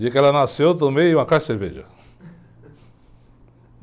Dia que ela nasceu, eu tomei uma caixa de cerveja.